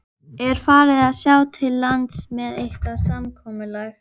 Er farið að sjá til lands með eitthvað samkomulag?